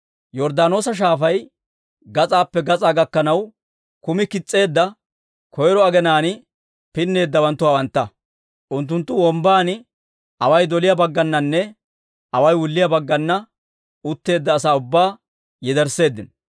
Yorddaanoosa Shaafay, gas'aappe gas'aa gakkanaw kumi kis's'eedda koyro aginaan pinneeddawanttu hawantta. Unttunttu wombban away doliyaa baggananne away wulliyaa baggananne utteedda asaa ubbaa yedersseeddino.